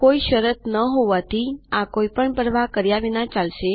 કોઈ શરત ન હોવાથી આ કોઈ પણ પરવાહ કર્યા વગર ચાલશે